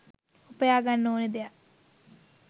උපයාගන්න ඕනෙ දෙයක්.